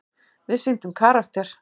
Við sýndum karakter.